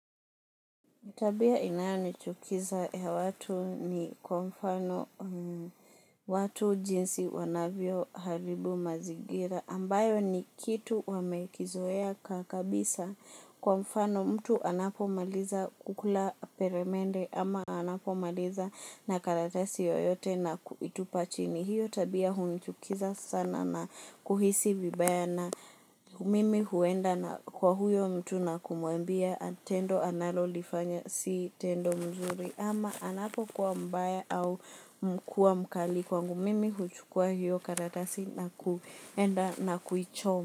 Tabia inayochukiza ya watu ni kwa mfano watu jinsi wanavyoharibu mazingira ambayo ni kitu wamekizoea kabisa kwa mfano mtu anapomaliza kukula peremende ama anapomaliza na karatasi yoyote na kuitupa chini hiyo tabia hunichukiza sana na kuhisi vibaya mimi huenda na kwa huyo mtu na kumuambia tendo analolifanya si tendo mzuri ama anapokuwa mbaya au kuwa mkali kwangu mimi huchukua hiyo karatasi nakuenda na kuichoma.